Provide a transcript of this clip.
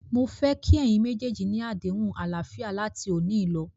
Mó fẹ́ kí ẹ̀yin méjèèjì ni àdéhùn àlàáfíà láti òní lọ.!